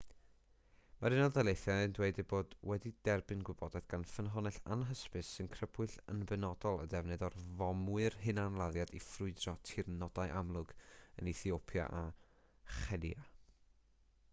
mae'r unol daleithiau'n dweud eu bod wedi derbyn gwybodaeth gan ffynhonnell anhysbys sy'n crybwyll yn benodol y defnydd o fomwyr hunanladdiad i ffrwydro tirnodau amlwg yn ethiopia a chenia